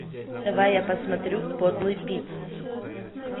давай я посмотрю подлый пит